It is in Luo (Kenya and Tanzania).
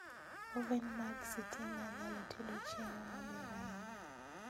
Oven mag sitima nyalo tedo chiemo maber ahinya